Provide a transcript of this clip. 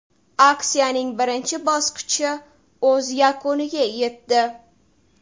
Aksiyaning birinchi bosqichi o‘z yakuniga yetdi.